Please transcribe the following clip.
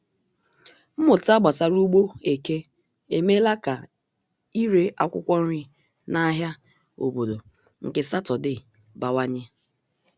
Mmụta gbasara ugbo eke emeela ka ire akwụkwọ nri na ahịa obodo nke Sátọdee bawanye.